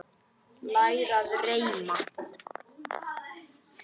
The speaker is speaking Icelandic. Læra að reima